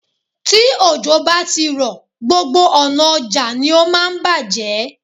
Tí òjò bá ti rọ̀, gbogbo ọ̀nà ọjà ni ó máa ń bàjé.